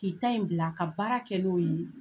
K'i ta in bila ka baara kɛ n'o ye.